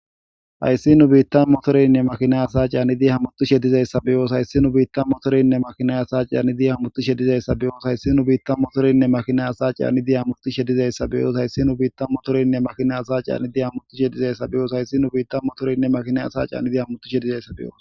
Hayssi nu biiththa mothoreenne maakinay asaa caanidi hamoththishe dizayssa be7oos;Hayssi nu biiththa mothoreenne maakinay asaa caanidi hamoththishe dizayssa be7oos;Hayssi nu biiththa mothoreenne maakinay asaa caanidi hamoththishe dizayssa be7oos;Hayssi nu biiththa mothoreenne maakinay asaa caanidi hamoththishe dizayssa be7oos;Hayssi nu biiththa mothoreenne maakinay asaa caanidi hamoththishe dizayssa be7oos.